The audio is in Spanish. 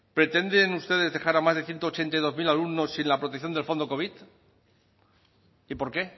pretenden ustedes dejar a más de ciento ochenta y dos mil alumnos sin la protección del fondo covid y por qué